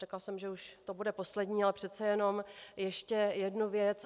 Řekla jsem, že už to bude poslední, ale přece jenom ještě jednu věc.